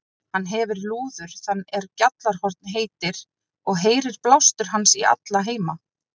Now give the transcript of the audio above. Hann hefir lúður þann er Gjallarhorn heitir, og heyrir blástur hans í alla heima.